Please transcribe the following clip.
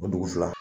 O dugusɛ